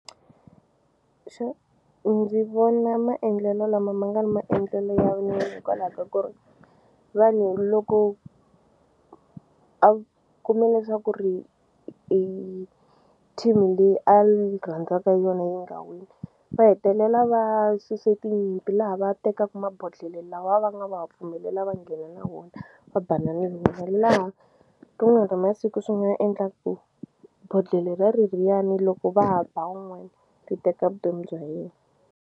Xo ndzi vona maendlelo lama ma nga ri maendlelo ya nene hikwalaho ka ku ri vanhu loko a kume leswaku ri i team leyi a ni rhandaka yona yi nga wini va hetelela va suse tinyimpi laha va tekaku mabodhlele lawa va nga va va pfumelela va nghena na wona va banana hi wo laha rin'wani ra masiku swi nga endla ku bodhlele ra reriyani loko va ha ba wun'wani ri teka vutomi bya yena.